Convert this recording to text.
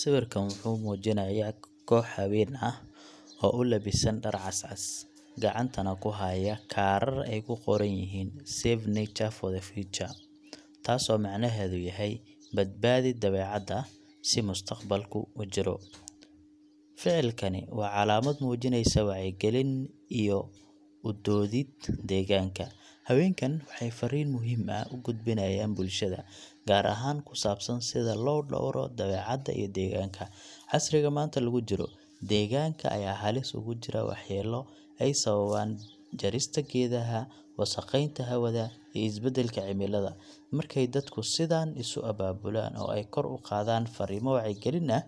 Sawirkan wuxuu muujinayaa koox haween ah oo u labisan dhar cas cas, gacantana ku haya kaarar ay ku qoran tahay Save Nature for the Future taasoo macnaheedu yahay Badbaadi Dabeecadda si mustaqbalku u jiro. Ficilkani waa calaamad muujinaysa wacyigelin iyo u doodid deegaanka. Haweenkan waxay fariin muhiim ah u gudbinayaan bulshada, gaar ahaan ku saabsan sida loo dhowro dabeecadda iyo deegaanka. Casriga maanta lagu jiro, deegaanka ayaa halis ugu jira waxyeelo ay sababaan jarista geedaha, wasakheynta hawada, iyo isbedelka cimilada. Markay dadku sidaan isu abaabulaan oo ay kor u qaadaan fariimo wacyigelin ah,